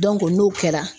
n'o kɛra